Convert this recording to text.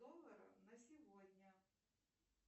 доллара на сегодня